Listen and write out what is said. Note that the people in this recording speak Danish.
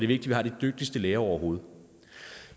vi har de dygtigste læger overhovedet